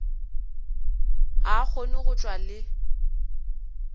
a kgone go tšwa le